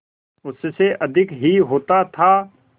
उससे अधिक ही होता था